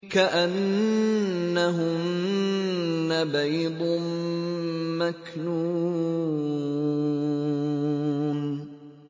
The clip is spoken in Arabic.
كَأَنَّهُنَّ بَيْضٌ مَّكْنُونٌ